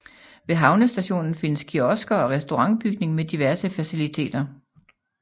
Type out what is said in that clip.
Ved havnestationen findes kiosker og restaurantbygning med diverse faciliteter